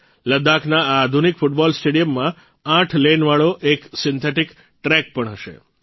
લદ્દાખના આ આધુનિક ફૂટબોલ સ્ટેડિયમમાં આઠ લેન વાળો એક સિન્થેટીક ટ્રેક પણ હશે